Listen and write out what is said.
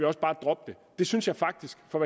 også bare droppe det synes jeg faktisk for